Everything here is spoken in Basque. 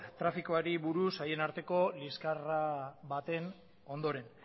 trafikoari buruz haien arteko liskarra baten ondoren